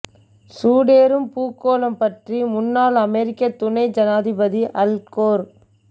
சூடேறும் பூகோளம் பற்றி முன்னாள் அமெரிக்கத் துணை ஜனாதிபதி அல் கோர்